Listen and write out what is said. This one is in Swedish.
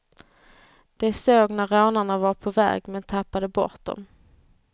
De såg när rånarna var på väg, men tappade bort dem.